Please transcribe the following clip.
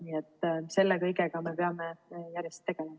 Nii et selle kõigega me peame järjest tegelema.